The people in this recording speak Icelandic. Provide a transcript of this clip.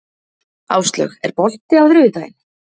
Áslaug, er bolti á þriðjudaginn?